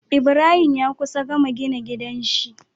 Ibrahim ya kusa gama gina gidan shi